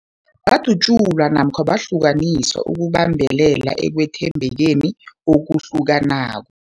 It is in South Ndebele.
Badatjulwa namkha bahlukaniswa ukubambelela ekwethembekeni okuhlukanako.